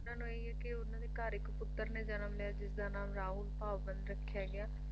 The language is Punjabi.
ਉਹਨਾਂ ਨੂੰ ਇਹੀ ਆ ਕੇ ਉਹਨਾਂ ਦੇ ਘਰ ਇੱਕ ਪੁੱਤਰ ਨੇ ਜਨਮ ਲਿਆ ਜਿਸ ਦਾ ਨਾਮ ਰਾਹੁਲ ਭਾਵੰਤ ਰੱਖਿਆ ਗਿਆ